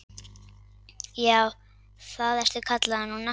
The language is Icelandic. Já, það ertu kallaður núna.